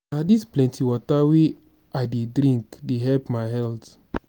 na dis plenty water wey i dey drink dey help my health.